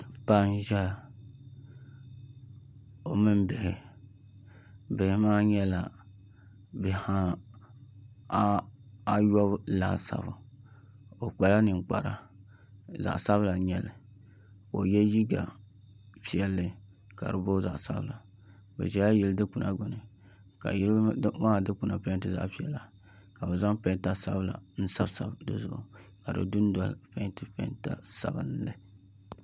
Paɣa n ʒɛya o mini bihi bihi maa nyɛla bihi ayobu laasabu o kpala ninkpara zaɣ sabila n nyɛli ka o yɛ liiga piɛlli ka di booi zaɣ sabila o ʒɛla yili dikpuna gbuni ka yili maa dikpuna maa peenti zaɣ piɛla ka bi zaŋ peenta sabinli n sabi sabi dizuɣu ka di dundoli peenti peenta sabinli